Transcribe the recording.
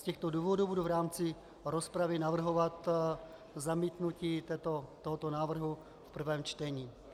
Z těchto důvodů budu v rámci rozpravy navrhovat zamítnutí tohoto návrhu v prvém čtení.